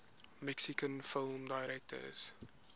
mexican film directors